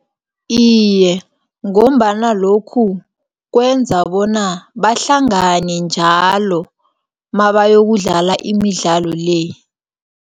Iye, ngombana lokhu kwenza bona bahlangane njalo, mabayokudlala imidlalo le.